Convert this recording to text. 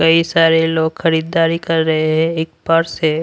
कई सारे लोग खरीदारी कर रहे हैं एक पर्स है।